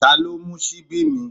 Ta ló mú ṣíbí mi?